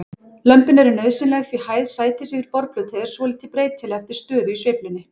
Lömin er nauðsynleg því hæð sætis yfir borðplötu er svolítið breytileg eftir stöðu í sveiflunni.